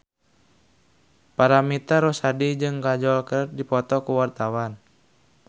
Paramitha Rusady jeung Kajol keur dipoto ku wartawan